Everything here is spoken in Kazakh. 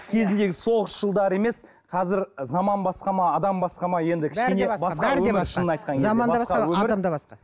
кезіндегі соғыс жылдары емес қазір заман басқа ма адам басқа ма енді адам да басқа